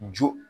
Jo